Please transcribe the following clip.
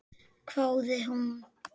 hváði hún.